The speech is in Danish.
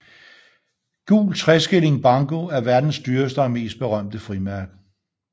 Gul tre skilling banco er verdens dyreste og mest berømte frimærke